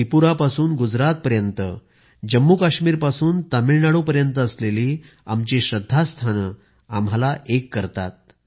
त्रिपुरा पासून गुजरात पर्यंत जम्मूकाश्मीर पासून तामिळनाडू पर्यंत असलेली आमची श्रद्धास्थाने आम्हाला एक करतात